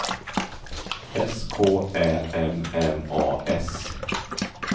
S K Ä M M A S